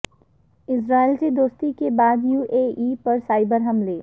اسرائیل سے دوستی کے بعد یو اے ای پر سائبر حملے